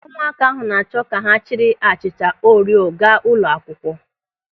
Ụmụaka ahụ na-achọ ka ha jiri achịcha Orio gaa ụlọ akwụkwọ.